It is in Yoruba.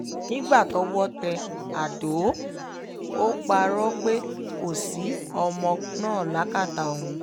nígbà tọ́wọ́ tẹ àdó ò parọ́ pé kò sí ọmọ náà lákàtà òun